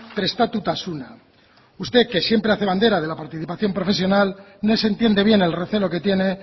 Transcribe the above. prestatutasuna usted que siempre hace bandera de la participación profesional no se entiende bien el recelo que tiene